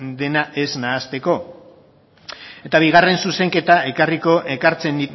dena ez nahasteko ekartzen